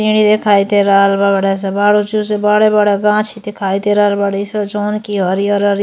पेड़ दिखाई दे रहल बा बड़ा सा। बड़े-बड़े बांस दिखाई दे रहल बाड़ी स। जौन कि हरिहर हरिहर --